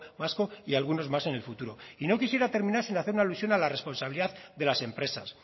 vasco y algunos más en el futuro y no quisiera terminar sin hacer una alusión a la responsabilidad de las empresas